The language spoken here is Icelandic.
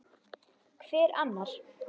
Hver annar?